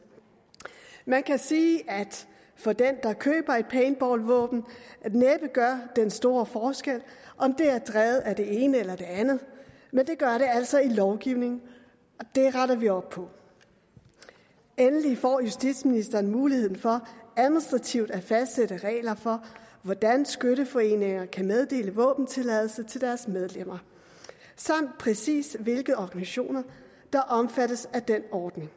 man kan sige at det for den der køber et paintballvåben næppe gør den store forskel om det er drevet af det ene eller det andet men det gør det altså i lovgivningen og det retter vi op på endelig får justitsministeren muligheden for administrativt at fastsætte regler for hvordan skytteforeninger kan meddele våbentilladelse til deres medlemmer samt præcis hvilke organisationer der omfattes af den ordning